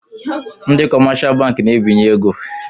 Ndị kọmáshá bankị na-ebinyè égo